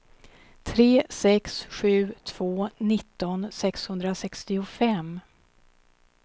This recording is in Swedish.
tre sex sju två nitton sexhundrasextiofem